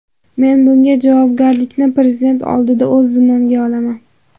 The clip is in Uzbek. Men bunga javobgarlikni prezident oldida o‘z zimmamga olaman.